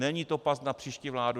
Není to past na příští vládu.